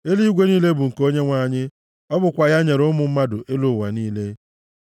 Eluigwe niile bụ nke Onyenwe anyị, ọ bụkwa ya nyere ụmụ mmadụ elu ụwa niile.